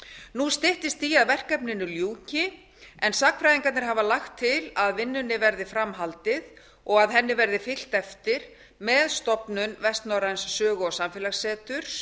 nú styttist í að verkefninu ljúki en sagnfræðingarnir hafa lagt til að vinnunni verði fram haldið og henni verði fylgt eftir með stofnun vestnorræns sögu og samfélagsseturs